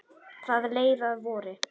Það leið að vori.